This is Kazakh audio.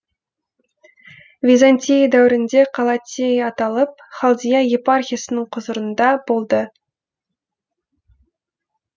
византия дәуірінде қала тея аталып халдия епархиясының құзырында болды